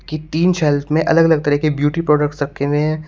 की तीन शेल्फ में अलग अलग तरह के ब्यूटी प्रोडक्ट्स रखे हुए है।